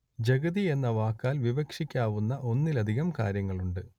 ജഗതി എന്ന വാക്കാൽ വിവക്ഷിക്കാവുന്ന ഒന്നിലധികം കാര്യങ്ങളുണ്ട്